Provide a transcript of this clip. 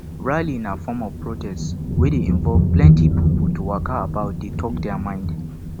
rally na form of protest wey de involve plenty pipo to waka about de talk their mind